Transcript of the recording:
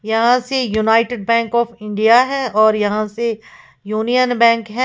यहाँ से United Bank of India है और यहां से यूनियन बैंक है।